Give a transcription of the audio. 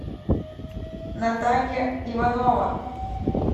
наталья иванова